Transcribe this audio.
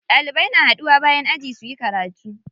Ɗalibai na haɗuwa bayan aji suyi karatu.